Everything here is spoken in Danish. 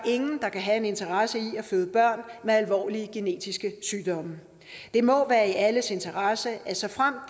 der kan have en interesse i at føde børn med alvorlige genetiske sygdomme det må være i alles interesse at såfremt